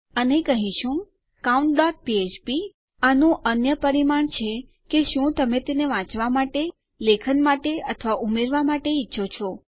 અને કહીશું countફ્ફ્પ અને આનું અન્ય પરિમાણ છે કે શું તમે તેને વાંચવા માટે લેખન માટે અથવા ઉમેરવા માટે ઈચ્છો છો